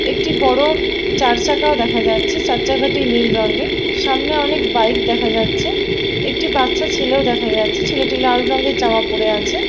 একটি বড় চারচাকাও দেখা যাচ্ছে চার চাকাটি নীল রঙের সামনে অনেক বাইক দেখা যাচ্ছে একটি বাচ্চা ছেলেও দেখা যাচ্ছে ছেলেটি লাল রঙের জামা পড়ে আছে।